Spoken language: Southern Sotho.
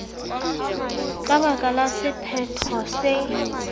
ka baka la sephetho se